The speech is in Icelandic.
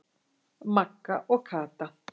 Magga og Kata.